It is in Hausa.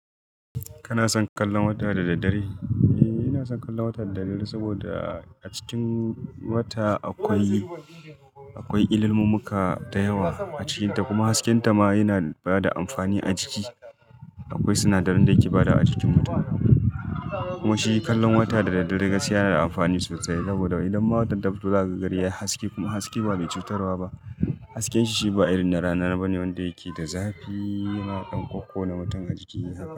Kana son kallon wata da daddare? Eh, ina son kallon wata da daddare saboda a cikin wata akwai, akwai illilmummuka da yawa a cikinta. Kuma hasken ta ma yana bada amfani a jiki. Akwai sinadarin da ke bada a cikin mutum. Kuma shi kallon wata da daddare gaskiya yana da amfani sosai saboda idan watan ta fito zakaga gari yayi haske kuma haske ban mai cutarwa ba. Hasken shi shi ba irin na rana bane wanda yake da zafi. Ina ɗan ƙuƙona mutum a jiki.